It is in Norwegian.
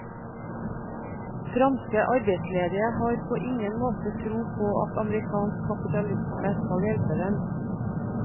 Franske arbeidsledige har på ingen måte tro på at amerikansk kapitalisme skal hjelpe dem.